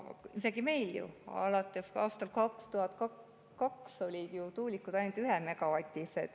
Meil on ju alates aastast 2002 tuulikud olnud ainult 1‑megavatised.